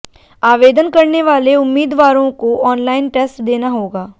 आवेदन करने वाले उम्मीदवारों को ऑनलाइन टेस्ट देना होगा